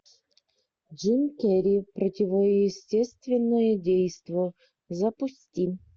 джим керри противоестественное действо запусти